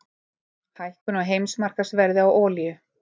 Hækkun á heimsmarkaðsverði á olíu